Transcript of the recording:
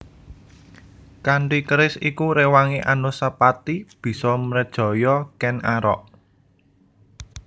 Kanthi keris iku réwangé Anusapati bisa mrejaya Kèn Arok